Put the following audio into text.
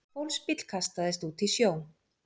Fólksbíll kastaðist út í sjó